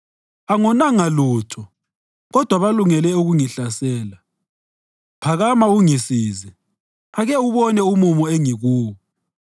Angonanga lutho, kodwa balungele ukungihlasela. Phakama ungisize; ake ubone umumo engikuwo!